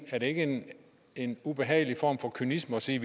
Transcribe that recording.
er det ikke en ubehagelig form for kynisme at sige